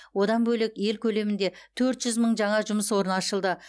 одан бөлек ел көлемінде төрт жүз мың жаңа жұмыс орны ашылды